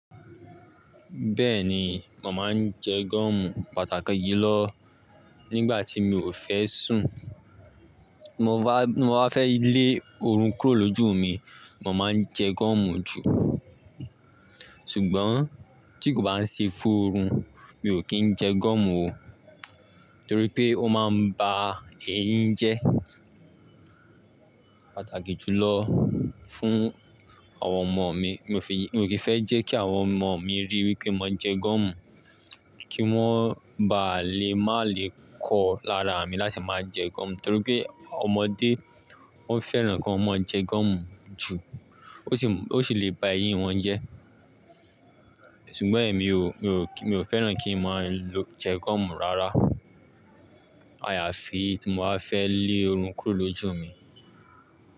Bẹ́ẹ̀ni, màá ń jẹ gúọ̀mù pàtàkì yí lọ nígbà tí mi ò fẹ́ sùn. Mo bá fẹ́ lé ọrùn kúró lójú mi, màá máa jẹ gúọ̀mù jù. Ṣùgbọ́n tí kò bá ń ṣe fún oorun, mi ò kí ń jẹ gúọ̀mù o. Nítorí pé ó máa ń ba èéyin jẹ́. Pàtàkì jùlọ fún àwọn ọmọ mi. Mi ò kí ń fẹ́ jẹ́ kí àwọn ọmọ mi rí wípé mo ń jẹ goomù, kí wọ́n ba lè má le kọ lára mi láti máa jẹ goọ̀mù. Nítorí pé ọmọdé ó fẹ́ràn kí ọmọ ẹ jẹ goọ̀mù jù. Ó sì le bá èyin won jẹ́. Ṣùgbọ́n èmi o, mi o fẹ́ràn kí n máa jẹ goọ̀mù rárá. Àyàfi tí mo bá fẹ́ lé ọọrùn kúró lójú mi.